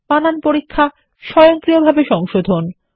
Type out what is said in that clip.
বানান পরীক্ষা স্বয়ংক্রিয়ভাবে সংশোধন